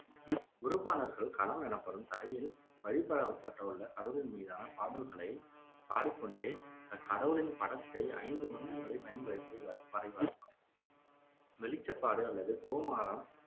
குருப்பானர்கள் களம் எனப்படும் தரையில் வழிபட படவுள்ள கடவுளின் மீதான பாடல்களைப் பாடிக்கொண்டே அக்கடவுளின் படத்தை ஐந்து வண்ணங்களைப் பயன்படுத்தி வரைவார் வெளிச்சப்பாடு அல்லது கொமாரம்